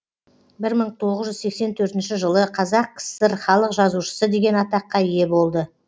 бір мың тоғыз жүз сексен төртінші жылы қазақ кср халық жазушысы деген атаққа ие болды